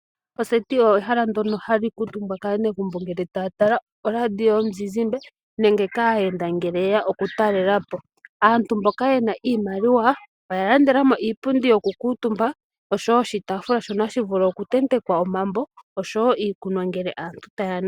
Oseti olyo ehala ndyoka ha li kalwa omutumba kaanegumbo uuna ta ya tala oradio yomuzizimbe, nenge kaayenda uuna yeya oku talelapo. Mboka ye na iimaliwa oya landela mo iipundi ,yoku kala omutumba osho wo oshitaafula shokutenteka omambo, niikunwa uuna aantu ta ya nu.